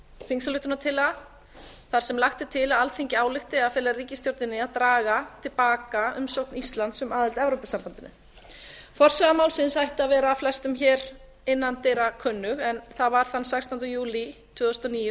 þingsályktunartillaga þar sem lagt er til að alþingi álykti að fela ríkisstjórninni að draga til baka umsókn íslands um aðild að evrópusambandinu forsaga málsins ætti að vera flestum hér innandyra kunnug en það var þann sextánda júlí tvö þúsund og níu